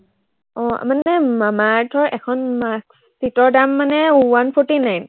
আহ মানে মামা আৰ্থৰ এখন mask sheet ৰ দাম মানে one forty nine